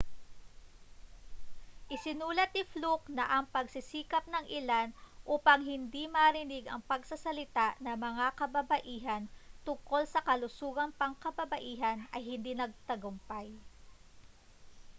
isinulat ni fluke na ang mga pagsisikap ng ilan upang hindi marinig ang pagsasalita ng mga kababaihan tungkol sa kalusugang pangkababaihan ay hindi nagtagumpay